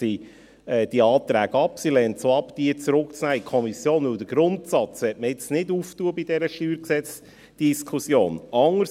Sie lehnt es auch ab, diese in die Kommission zurückzunehmen, weil man den Grundsatz bei dieser StGDiskussion nicht öffnen möchte.